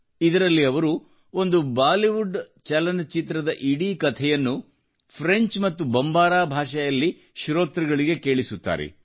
ಇದರಲ್ಲಿ ಅವರು ಒಂದು ಬಾಲಿವುಡ್ ಚಲನಚಿತ್ರದ ಇಡೀ ಕಥೆಯನ್ನು ಫ್ರೆಂಚ್ ಮತ್ತು ಬಂಬಾರಾ ಭಾಷೆಯಲ್ಲಿ ಶ್ರೋತೃಗಳಿಗೆ ಕೇಳಿಸುತ್ತಾರೆ